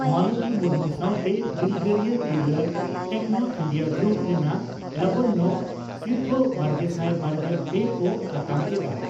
ᱢᱟᱞᱚᱛᱤ ᱢᱩᱨᱢᱩ ᱥᱟᱣᱛᱮ ᱫᱤᱞᱜᱟᱹᱨᱤᱭᱟᱹ ᱛᱤᱨᱞᱟᱹ ᱴᱮᱠᱱᱚ ᱤᱱᱰᱤᱭᱟᱹ ᱜᱨᱩᱯ ᱨᱮᱱᱟᱜ ᱞᱟᱵᱚᱱᱭᱚ ᱥᱤᱨᱯᱷᱟᱹᱼᱵᱟᱨᱜᱮᱥᱟᱭ ᱵᱟᱨᱜᱮᱞ ᱯᱮ ᱠᱚ ᱟᱛᱟᱝ ᱠᱮᱫᱼᱟ